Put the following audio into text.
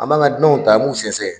An b'an ka dunanw ta an b'u sɛgɛsɛgɛ.